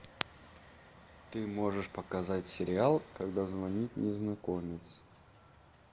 ты можешь показать сериал когда звонит незнакомец